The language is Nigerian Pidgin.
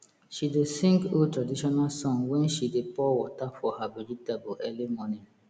she dey sing old traditional song when she dey pour water for her vegetable early morning